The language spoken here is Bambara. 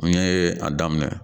N ye a daminɛ